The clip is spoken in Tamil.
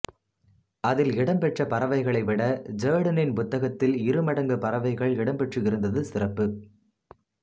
அதில் இடம் பெற்ற பறவைகளைவிட ஜெர்டனின் புத்தகத்தில் இருமடங்கு பறவைகள் இடம்பெற்றிருந்நது சிறப்பு